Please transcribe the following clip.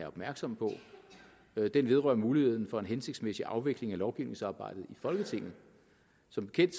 opmærksom på den vedrører muligheden for en hensigtsmæssig afvikling af lovgivningsarbejdet i folketinget som bekendt